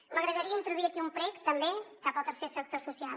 m’agradaria introduir aquí un prec també cap al tercer sector social